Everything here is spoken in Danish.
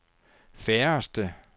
færreste